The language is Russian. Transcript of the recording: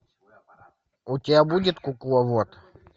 у тебя будет кукловод